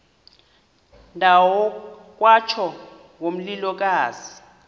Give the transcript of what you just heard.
ndawo kwatsho ngomlilokazi